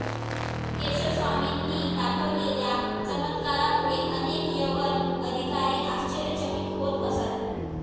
केशव स्वामींनी दाखवलेल्या चमत्कारामुळे अनेक यवन अधिकारी आश्चर्यचकित होत असत